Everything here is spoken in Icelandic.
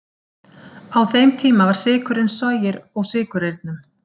Á þeim tíma var sykurinn soginn úr sykurreyrnum.